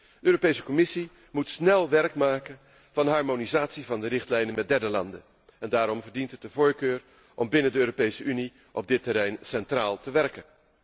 De Europese Commissie moet snel werk maken van de harmonisatie van de richtlijnen met derde landen en daarom verdient het de voorkeur om binnen de Europese Unie op dit terrein centraal te werken.